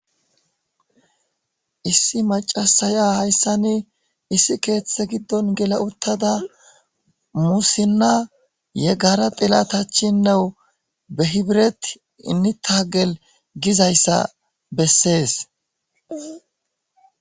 issi macasaya hayssa ni issi keeththe giddon gela uttada musinna yeggara dilatachinnewu behibiret inita gel gizayssa bessees